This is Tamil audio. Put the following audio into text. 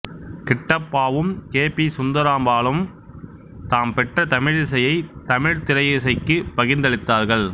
கிட்டப்பாவும் கே பி சுந்தரம்பாளும் தாம் பெற்ற தமிழிசையை தமிழ்த்திரையிசைக்குப் பகிர்ந்தளித்தார்கள்